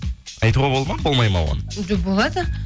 айтуға болады ма болмай ма оны жоқ болады